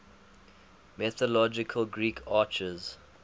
mythological greek archers